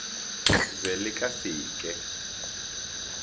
be le ka se ke